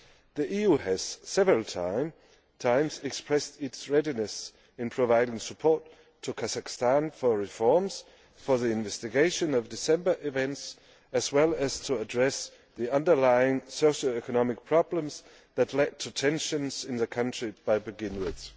The EU has several times expressed its readiness to provide support to Kazakhstan for reforms and for the investigation of the events in December, as well as to address the underlying socio economic problems that led to tensions in the country to begin with.